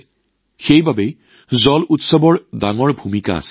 আৰু সেয়েহে তাত জল উৎসৱৰ ডাঙৰ ভূমিকা আছে